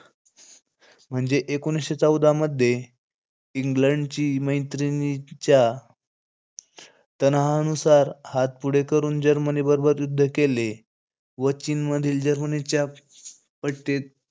म्हणजे एकोणीशे चौदा मध्ये, इंग्लंडची मैत्रीनिच्या तनहानुसार हात पुढे करून जर्मनी बरोबर युद्ध केले. व चीनमधील जर्मनीच्या पट्टे,